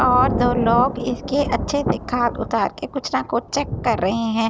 और दो लोग इसकी अच्‍छे से खाद उतारके कुछ न कुछ चेक कर रहे हैं यें --